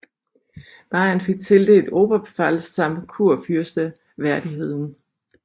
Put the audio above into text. Bayern fik tildelt Oberpfalz samt kurfyrsteværdigheden